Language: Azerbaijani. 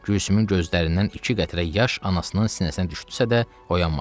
Gülsümün gözlərindən iki qətrə yaş anasının sinəsinə düşdüsə də, oyanmadı.